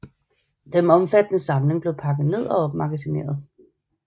Den omfattende samling blev pakket ned og opmagasineret